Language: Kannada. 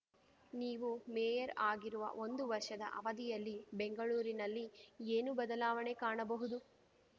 ನೀವು ಮೇಯರ್‌ ಆಗಿರುವ ಒಂದು ವರ್ಷದ ಅವಧಿಯಲ್ಲಿ ಬೆಂಗಳೂರಿನಲ್ಲಿ ಏನು ಬದಲಾವಣೆ ಕಾಣಬಹುದು